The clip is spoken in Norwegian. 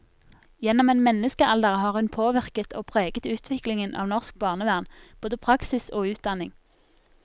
Gjennom en menneskealder har hun påvirket og preget utviklingen av norsk barnevern, både praksis og utdanning.